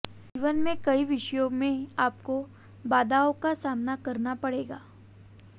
जीवन में कई विषयों में आपको बाधाओं का सामना करना पड़ेगा